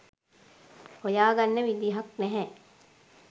හොයාගන්න විදහක් නැහැ